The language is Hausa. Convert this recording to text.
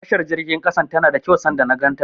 Tashar jirgin ƙasan tana da kyau sanda na ganta.